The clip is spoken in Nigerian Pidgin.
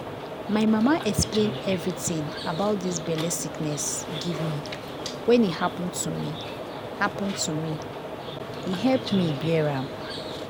my mama explain everitin about dis belle sickness give me when e happen to me happen to me e help me bear am.